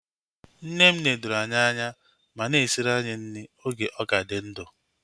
Nne m nedoro anyị anya ma na-esiri anyị nri oge ọ ka dị ndụ